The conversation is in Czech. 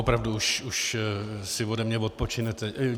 Opravdu si už ode mě odpočinete.